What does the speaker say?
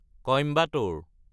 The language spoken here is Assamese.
কইম্বাটোৰ